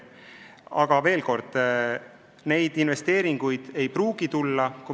Aga veel kord, neid investeeringuid ei pruugi tulla.